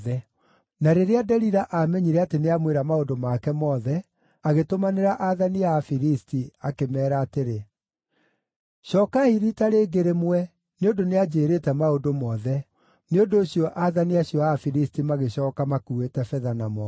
Na rĩrĩa Delila aamenyire atĩ nĩamwĩra maũndũ make mothe, agĩtũmanĩra aathani a Afilisti akĩmeera atĩrĩ, “Cookai riita rĩngĩ rĩmwe, nĩ ũndũ nĩanjĩĩrĩte maũndũ mothe.” Nĩ ũndũ ũcio aathani acio a Afilisti magĩcooka makuuĩte betha na moko.